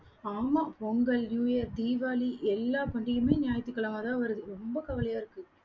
ஆமாம் Pongal, new year, Deepavali எல்லா பண்டிகையும் ஞாயிற்றுக்கிழமைதான் வருது. ரொம்ப கவலையா இருக்கு